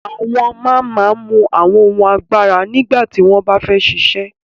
Awọn man man mú awọn ohun àgbàrá nígbàtí wọn bá fẹ ṣíṣẹ̀